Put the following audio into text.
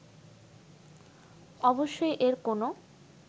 অবশ্যই এর কোনো